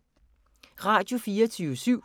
Radio24syv